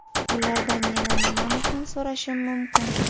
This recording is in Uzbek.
Ulardan yana nimani ham so‘rashim mumkin?